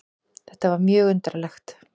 Þetta var mjög undarlegt.